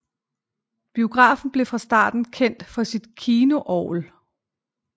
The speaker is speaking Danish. Biografen blev fra starten kendt for sit kinoorgel